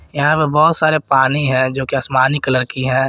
यहां पे बहोत सारे पानी है जो की आसमानी कलर की है।